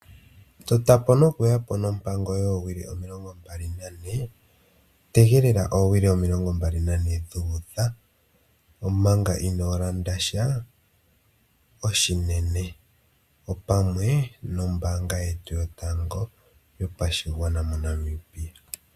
Totapo noku yapo nompango yowili omilongo mbali nane. Tegelela owili omilongo mbali nane dhu udha omaga ino landa sha oshinene opamwe nombanga yetu yotango yopashigwana moNamibia.